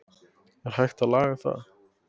Er hægt að laga það?